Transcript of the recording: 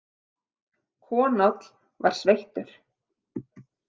Konáll var sveittur.